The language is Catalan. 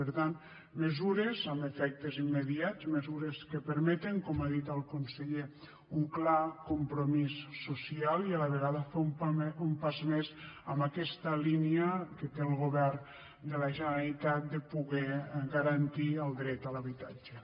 per tant mesures amb efectes immediats mesures que permeten com ha dit el conseller un clar compromís social i a la vegada fer un pas més en aquesta línia que té el govern de la generalitat de poder garantir el dret a l’habitatge